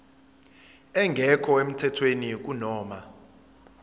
engekho emthethweni kunoma